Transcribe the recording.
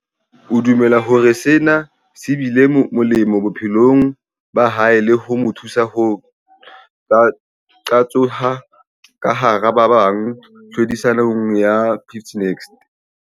O dumela hore sena se bile molemo bophelong ba hae le ho mo thusa ho qatsoha ka hara ba bang tlhodisanong ya 50 Next.